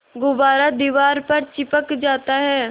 गुब्बारा दीवार पर चिपक जाता है